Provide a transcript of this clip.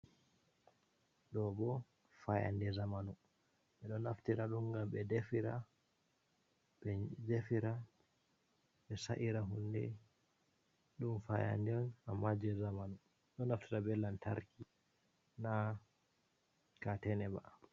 Ɗo bo fayannde zamanu, ɓe ɗo naftira be maajum ngam ɓe defira, ɓe sa’ira hunde. Ɗum fayannde on ammaa jey zamanu, ɗo naftira be lantarki, na kaatene ba.